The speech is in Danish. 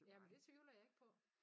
Ja men det tvivler jeg ikke på